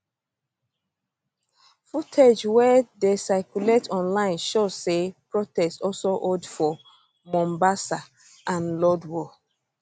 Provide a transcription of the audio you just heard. footage wey dey circulate online show say protest also hold for mombasa and lodwar